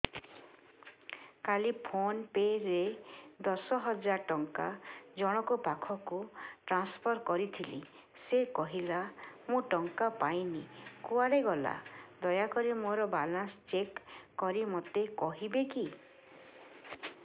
କାଲି PhonePe ରେ ଦଶ ହଜାର ଟଙ୍କା ଜଣକ ପାଖକୁ ଟ୍ରାନ୍ସଫର୍ କରିଥିଲି ସେ କହିଲା ମୁଁ ଟଙ୍କା ପାଇନି କୁଆଡେ ଗଲା ଦୟାକରି ମୋର ବାଲାନ୍ସ ଚେକ୍ କରି ମୋତେ କହିବେ କି